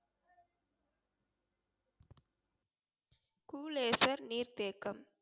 நீர்த்தேக்கம்